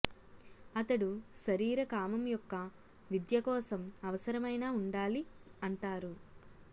అతడు శరీర కామం యొక్క విద్య కోసం అవసరమైన ఉండాలి అంటారు